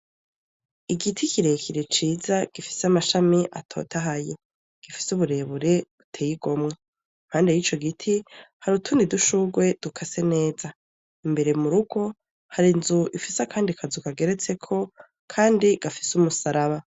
Igiti kirekire ciza gifise amashami atotahaye. Gifise uburebure buteye igomwe. Impande y'ico giti hari utundi udushurwe dukase neza. Imbere mu rugo hari inzu ifise akandi kazu kageretseko kandi gafise umusaraba.